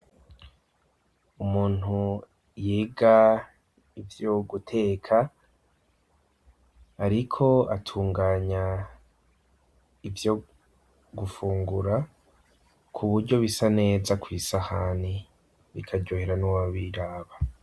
Umuntu yega ivyoguteka, ariko atunganya ivyo gufungura ku buryo bisa neza kw'isahani bikajohera n'ubabiraba.